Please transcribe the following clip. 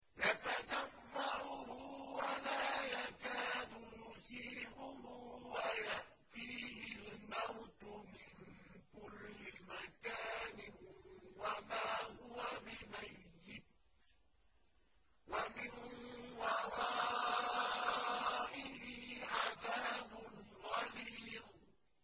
يَتَجَرَّعُهُ وَلَا يَكَادُ يُسِيغُهُ وَيَأْتِيهِ الْمَوْتُ مِن كُلِّ مَكَانٍ وَمَا هُوَ بِمَيِّتٍ ۖ وَمِن وَرَائِهِ عَذَابٌ غَلِيظٌ